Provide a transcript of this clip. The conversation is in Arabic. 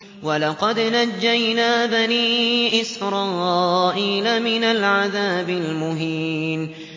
وَلَقَدْ نَجَّيْنَا بَنِي إِسْرَائِيلَ مِنَ الْعَذَابِ الْمُهِينِ